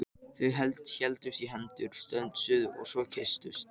Þau héldust í hendur, stönsuðu svo og kysstust.